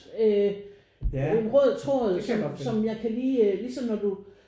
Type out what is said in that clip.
Øh en rød tråd som som jeg kan lige ligesom når du